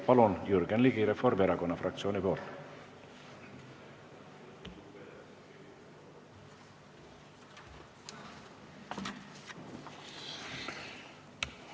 Palun, Jürgen Ligi Reformierakonna fraktsiooni nimel!